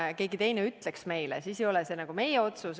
Kui keegi teine meile nii ütles, siis ei olegi see nagu meie otsus.